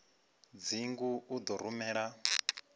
dzingu u ḓo u rumela